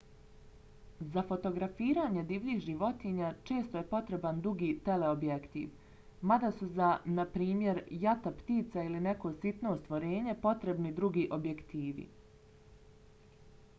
za fotografiranje divljih životinja često je potreban dugi teleobjektiv mada su za na primjer jata ptica ili neko sitno stvorenje potrebni drugi objektivi